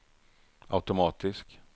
automatisk